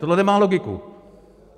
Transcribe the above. Tohle nemá logiku.